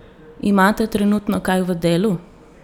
Imate trenutno kaj v delu?